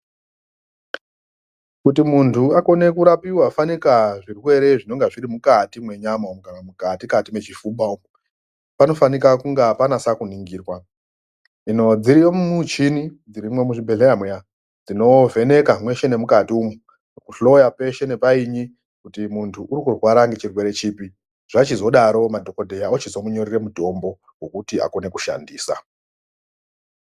Kuti muntu akone kurapiwa fanika zvirwere zvinonga zviri mukati menyama kana mukati kati mwechifuba umu panofaninga kunga panase kuningirwa hino dziriyo michini dzirimwo muzvibhehleya muya dzinovheneka mweshe nemukati umu kuhloya peshe nepainyi kuti munhu urikurwara ngechirwre chipi zvachizodaro madhokodheya ochizomunyorere mutombo wokuti akone kushandisa.